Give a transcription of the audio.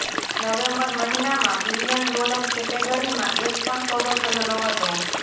November મહિનામાં billion dollar કેટેગરીમાં એક પણ સોદો થયો નહતો